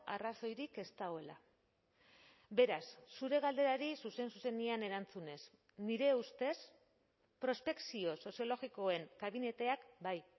arrazoirik ez dagoela beraz zure galderari zuzen zuzenean erantzunez nire ustez prospekzio soziologikoen kabineteak bai